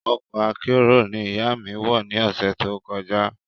Ọkọ̀ akérò ní ìyá mí wọ ni ọ̀sẹ̀ tó kọjá